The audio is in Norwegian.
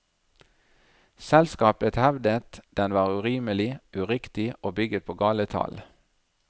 Selskapet hevdet den var urimelig, uriktig og bygget på gale tall.